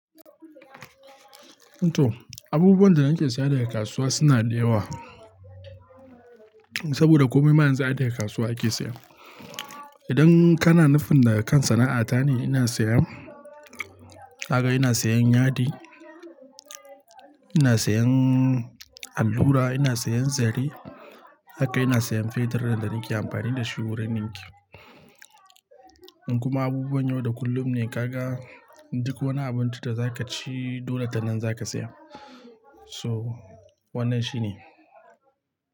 Eto, abubuwan da nake saya daga kasuwa suna da yawa. Saboda komai ma yanzu ai daga kasuwa ake saya. Idan kana nufin da kan sana'ata ne, ina saya, kaga ina siyan yadi, ina siyan allura, ina siyan zare, haka ina siyan fetur da nake amfani da shi wurin dinki. In kuma abubuwan yau da kullum ne, kaga duk wani abinci da za ka ci, dole tanan za ka saya. So wannan shine.